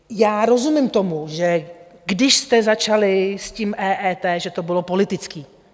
Já rozumím tomu, že když jste začali s tím EET, že to bylo politické.